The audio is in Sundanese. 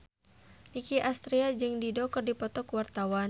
Nicky Astria jeung Dido keur dipoto ku wartawan